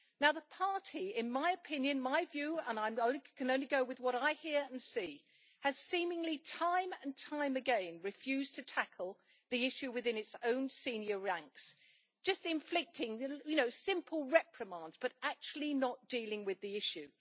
The party in my opinion and this is my view, I can only go with what I hear and see has seemingly time and time again refused to tackle the issue within its own senior ranks, just inflicting simple reprimands but actually not dealing with the issue.